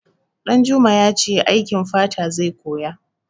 Ɗanjuma ya ce aikin fata zai koya.